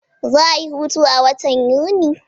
Za'a yi hutu a watan Yuni.